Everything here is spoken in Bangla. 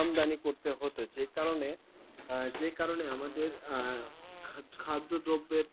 আমদানি করতে হত যে কারণে, যে কারণে আমাদের খাদ্যদ্রব্যের